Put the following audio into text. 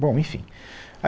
Bom, enfim.